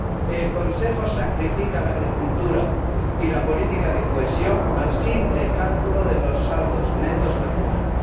El Consejo sacrifica la agricultura y la política de cohesión al simple cálculo de los saldos netos nacionales.